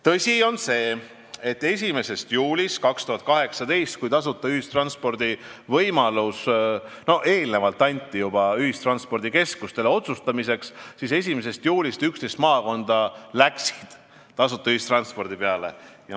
Tõsi on see, et tasuta ühistranspordi võimalus oli antud juba eelnevalt ühistranspordikeskustele otsustamiseks ja 1. juulist 2018 läks 11 maakonda tasuta ühistranspordile üle.